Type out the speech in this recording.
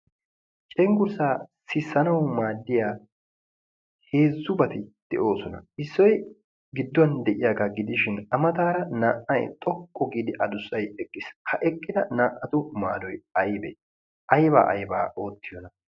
Cenggurssaa sissanawu maaddiya heezzubati de'oosona. Issoy gidduwan de'iyaagaa gidishin naa"ay a mataara xoqqu giidi addussay eqqiis. Ha eqqida naa"atu maaddoy Aybee? aybaa ayba oottiyona?